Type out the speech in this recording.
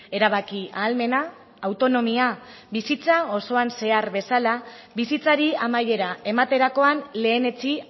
erabaki ahalmena autonomia bizitza osoan zehar bezala bizitzari amaiera ematerakoan lehenetsi